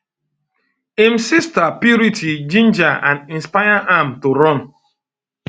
im sister purity ginger and inspire am to run um